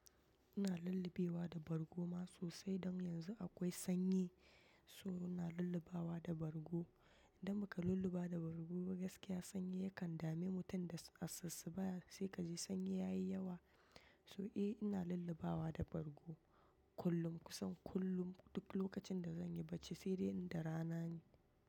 Ina lullubewa da bargo ma sosai. Don yanzu akwai sanyi so ina lullubawa da bargo. Inda baka lulluba da bargo gaskiya sanyi yakan dame mutum da asassu ba. Sai kaji sanyi yayi yawa. So eh ina lullubawa da bargo kullum kusan kullum duk lokacin da zanyi barci sai dai inda rana ne.